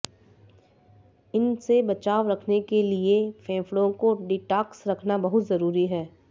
इनसे बचाव रखने के लिए फेफड़ों को डिटॉक्स रखना बहुत जरूरी है